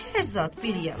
Hər zad bir yana.